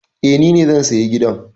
Eh, ni ne zan saya gidan